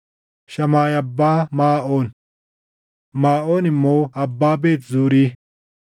Shamaayi abbaa Maaʼoon; Maaʼoon immoo abbaa Beet Zuuri.